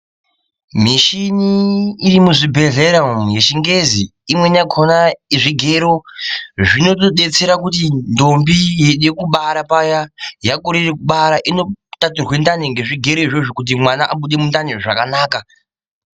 Mishini irimuzvibhehlera umwu yechingezi, imweni yakona zvigero zvinotodetsera kuti ndombi yeida kubara paya. Yakorere kubara inotaturwe ndani ngezvigero izvozvo kuti mwana abude mundani zvakanaka.